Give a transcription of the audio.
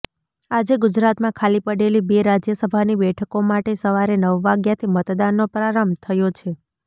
આજે ગુજરાતમાં ખાલી પડેલી બે રાજ્યસભાની બેઠકો માટે સવારે નવ વાગ્યાથી મતદાનનો પ્રારંભ થયો છે